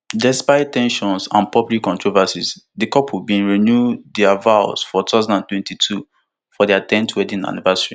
despite ten sions and public controversies di couple bin renew dia vows for two thousand and twenty-two for dia ten th wedding anniversary